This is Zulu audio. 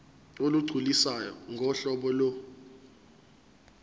olugculisayo ngohlobo lo